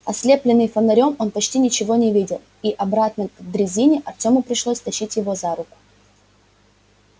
ослеплённый фонарём он почти ничего не видел и обратно к дрезине артёму пришлось тащить его за руку